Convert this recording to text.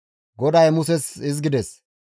GODAY Muses hizgides,